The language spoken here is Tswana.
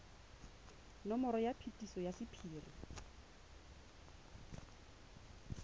nomoro ya phetiso ya sephiri